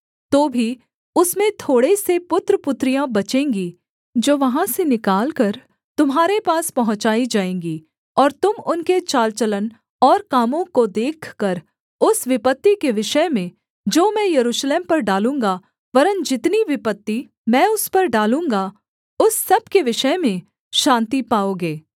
तो भी उसमें थोड़े से पुत्रपुत्रियाँ बचेंगी जो वहाँ से निकालकर तुम्हारे पास पहुँचाई जाएँगी और तुम उनके चाल चलन और कामों को देखकर उस विपत्ति के विषय में जो मैं यरूशलेम पर डालूँगा वरन् जितनी विपत्ति मैं उस पर डालूँगा उस सब के विषय में शान्ति पाओगे